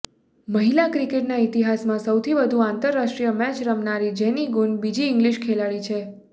મહિલા ક્રિકેટના ઈતિહાસમાં સૌથી વધુ આંતરરાષ્ટ્રીય મેચ રમનારી જેની ગુન બીજી ઈંગ્લિશ ખેલાડી છે